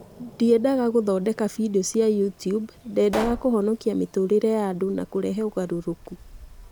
Ndiendaga gũthondeka bindiũ cia YouTube, ndeendaga kũhonokia mĩtũũrĩre ya andũ na kũrehe ũgarũrũku.